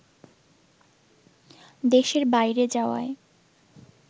দেশের বাইরে যাওয়ায়